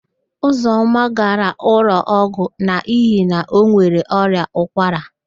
Ụzọma gara ụlọọgwụ n'ihi na o nwere ọrịa ụkwara.